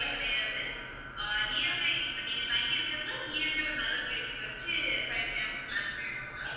கிடையாது ah near by இப்ப நீங்க தங்கியிருக்கிறது near by ஒரு நல்ல place ல வெச்சி fire camp plan பண்ணியிருக்கோம் ma'am